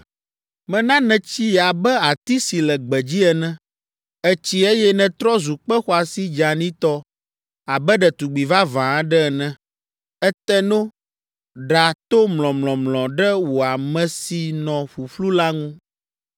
Mena nètsi abe ati si le gbedzi ene. Ètsi eye nètrɔ zu kpe xɔasi dzeanitɔ abe ɖetugbi vavã aɖe ene. Ète no, ɖa to mlɔmlɔmlɔ ɖe wò ame si nɔ ƒuƒlu la ŋu.